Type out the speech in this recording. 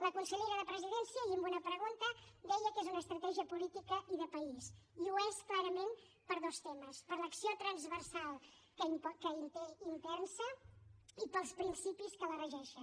la consellera de la presidència ahir amb una pregunta deia que és una estratègia política i de país i ho és clarament per dos temes per l’acció transversal que té intensa i pels principis que la regeixen